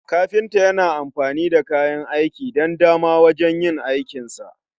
kafinta Yana amfani da kayan aiki dan dama wajen yin aikinsa